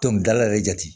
Dɔnkilidala yɛrɛ jate